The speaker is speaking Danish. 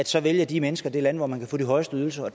så vælger de mennesker det land hvor man kan få de højeste ydelser og